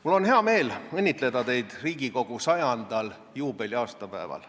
Mul on hea meel õnnitleda teid Riigikogu 100. aastapäeval.